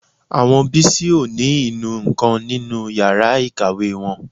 Àwọn Bísí ò ní inú nǹkan nínú yàrá ìkàwé wọn